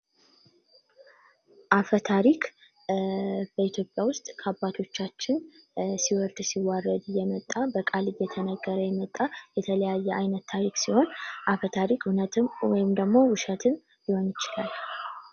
አፈ ታሪክ በኢትዮጵያ ውስጥ ከአባቶቻችን ሲወዱ ሲዋረድ የመጣ በቃልም እየተነገረ የመጣ የተለያየ አይነት ታሪክ ሲሆን አፈ ታሪክ እውነትም ወይም ደግሞ ውሸትም ሊሆን ይችላል።